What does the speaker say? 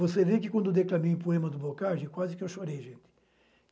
Você vê que quando eu declamei o poema do Boccaccio, quase que eu chorei, gente.